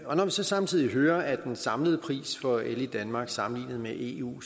når man så samtidig hører at den samlede pris for el i danmark sammenlignet med eu